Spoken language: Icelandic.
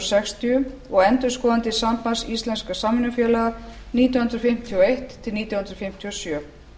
sextíu og endurskoðandi sambands íslenskra samvinnufélaga nítján hundruð fimmtíu og eitt til nítján hundruð fimmtíu og sjö